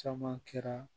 Caman kɛra